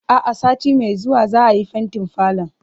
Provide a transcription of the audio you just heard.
A'a, sati mai zuwa za'a yi fentin falon.